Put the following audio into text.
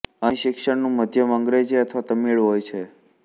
અહીં શિક્ષણનું માધ્યમ અંગ્રેજી અથવા તમિળ હોય છે